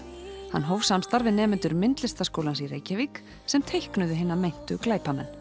hann hóf samstarf við nemendur Myndlistarskólans í Reykjavík sem teiknuðu hina meintu glæpamenn